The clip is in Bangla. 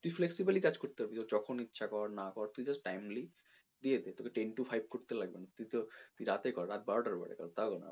flexible ভাবে কাজ করতে পারবি তোর যখন ইচ্ছা কর না কর তুই just timely ইয়ে তে তোকে ten to five করতে লাগবে না তোর তুই রাতে কর রাত বারোটার পরে কর তাও কোনো ব্যাপার নয়